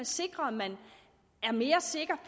sikres at man er mere sikker